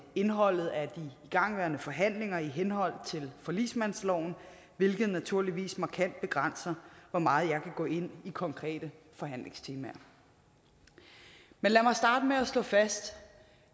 indholdet af de igangværende forhandlinger i henhold til forligsmandsloven hvilket naturligvis markant begrænser hvor meget jeg kan gå ind i konkrete forhandlingstemaer men lad mig starte med at slå fast